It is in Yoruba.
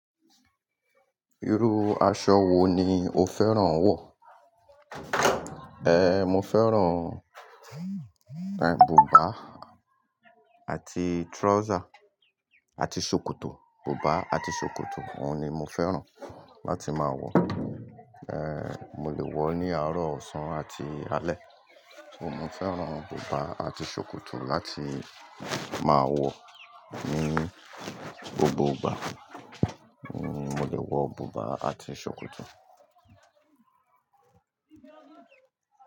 Irú aṣọ wo ni o fẹ́ràn wọ̀? Eh, mo fẹ́ràn, eh, bùbá àti trouser àti ṣòkòtò, bùbá àti ṣòkòtò òun ni mo fẹ́ràn láti máa wọ̀. Eh, mo lè wọ̀ ní àárọ̀ ọ̀sán àti alẹ́. Mo fẹ́ràn bùbá àti ṣòkòtò láti máa wọ̀ ní gbogbo ìgbà. Ní mo lè wọ bùbá àti ṣòkòtò.